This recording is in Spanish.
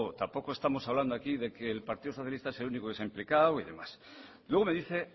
tampoco estamos hablando aquí de que el partido socialista sea el único se ha implicado y demás luego me dice